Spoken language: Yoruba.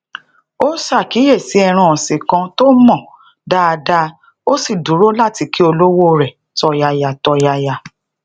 ó sakiyesi ẹran òsìn kan tó mò dáadáa ó sì dúró láti kí olowo re tòyàyàtòyàyà